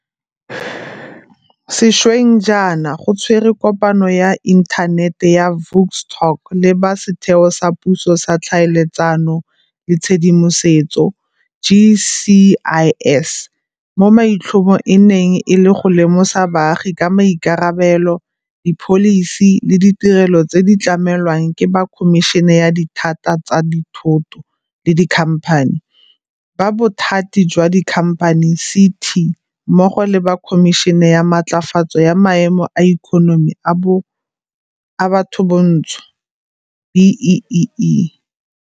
Sešweng jaana go tshwerwe kopano ya Inthanete ya Vuk Talks le ba Setheo sa Puso sa Tlhaeletsano le Tshedimosetso, GCIS, mo maitlhomo e neng e le go lemosa baagi ka maikarabelo, dipholisi le ditirelo tse di tlamelwang ke ba Khomišene ya Dithata tsa Dithoto le Dikhamphani, ba Bothati jwa Dikhamphani, CT, mmogo le ba Khomišene ya Matlafatso ya Maemo a Ikonomi a Bathobantsho B-BBEE.